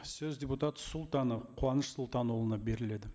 сөз дерутат султанов қуаныш сұлтанұлына беріледі